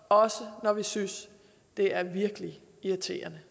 også når vi synes det er virkelig irriterende